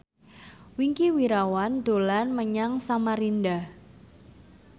Wingky Wiryawan dolan menyang Samarinda